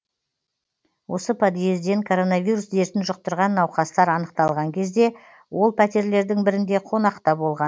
осы подъезден коронавирус дертін жұқтырған науқастар анықталған кезде ол пәтерлердің бірінде қонақта болған